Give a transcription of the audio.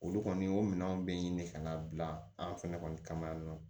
Olu kɔni y'o minɛnw bɛɛ ɲini ka na bila an fɛnɛ kɔni kama yan nɔ